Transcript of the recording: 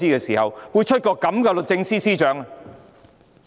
為何會有這樣的律政司司長？